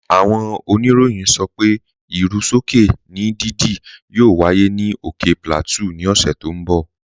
Áwọn ònìrọ̀yìn sọ pé irú sọkè ni dídí yóò wáyé ni ókè Plateau ni òṣè tó n bọ̀.